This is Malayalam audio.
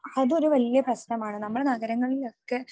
അതൊരു വലിയ പ്രശ്നമാണ്. നമ്മുടെ നഗരങ്ങളിലൊക്കെ